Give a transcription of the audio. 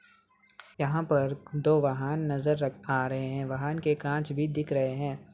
यहां पर दो वाहन नजर आ रहे हैवाहन के कांच भी दिख रहे हैं।